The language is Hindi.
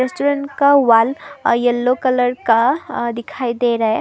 रेस्टोरेंट का वॉल अह येलो कलर का अह दिखाई दे रहा है।